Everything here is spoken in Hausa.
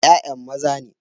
Ya'yan maza ne.